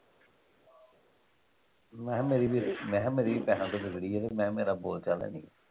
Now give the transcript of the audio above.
ਮੈਂ ਕਿਹਾ ਮੇਰੀ ਵੀ ਮੈਂ ਕਿਹਾ ਮੇਰੀ ਵੀ ਪੈਸਿਆਂ ਤੋਂ ਵਿਗੜੀ ਆ ਤੇ ਮੈਂ ਮੇਰਾ ਬੋਲ ਚਾਲ ਹੈ ਨਹੀਂ।